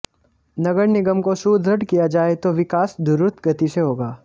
नगर निगम को सुदृढ़ किया जाए तो विकास दु्रत गति से होगा